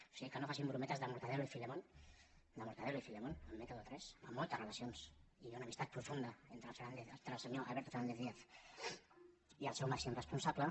o sigui que no facin brometes de mortadelo y filemón amb método tres amb moltes relacions i una amistat profunda entre el senyor alberto fernández díaz i el seu màxim responsable